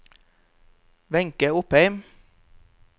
Wenche Opheim